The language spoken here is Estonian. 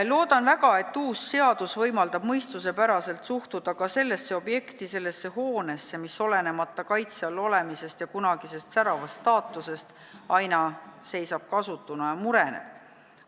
Loodan väga, et uus seadus võimaldab mõistuspäraselt suhtuda ka sellesse objekti, sellesse hoonesse, mis olenemata kaitse all olemisest ja kunagisest säravast staatusest seisab kasutuna ja mureneb.